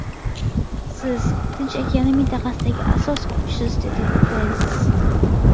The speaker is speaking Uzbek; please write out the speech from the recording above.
Siz, Tinch okeani mintaqasidagi asos kuchsiz”, dedi Pens.